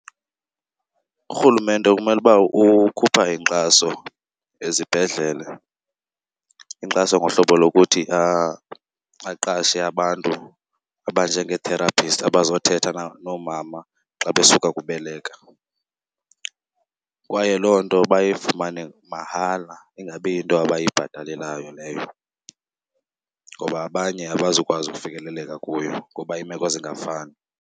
URhulumente kumele uba ukhupha inkxaso ezibhedlele, inkxaso ngohlobo lokuthi aqashe abantu abanjengee-therapist abazothetha noomama xa besuka kubeleka. Kwaye loo nto bayifumane mahala, ingabi yinto abayibhatalelayo leyo, ngoba abanye abazukwazi ufikeleleka kuyo ngoba iimeko zingafani.